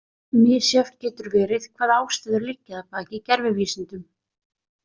Misjafnt getur verið hvaða ástæður liggja að baki gervivísindum.